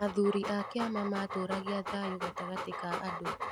Athuri a kĩama matũũragia thayũ gatagatĩ ka andũ